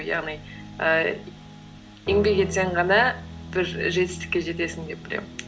яғни ііі еңбек етсең ғана бір жетістікке жетесің деп білемін